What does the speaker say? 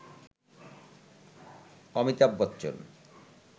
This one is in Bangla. অমিতাভ বচ্চন